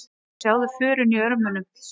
Sjáðu förin í örmunum.